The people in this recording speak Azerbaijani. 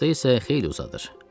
Qışda isə xeyli uzadır.